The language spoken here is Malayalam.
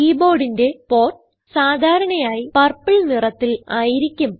keyboardന്റെ പോർട്ട് സാധാരണയായി പർപ്പിൾ നിറത്തിൽ ആയിരിക്കും